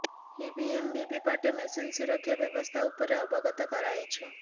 EVM VVPAT machine ସୁରକ୍ଷା ବ୍ୟବସ୍ଥା ଉପରେ ଅବଗତ କରାଇଛୁ